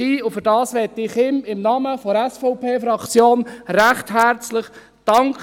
Dafür möchte ich ihm im Namen der SVP-Fraktion recht herzlich danken.